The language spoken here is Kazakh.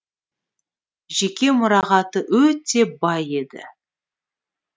жеке мұрағаты өте бай еді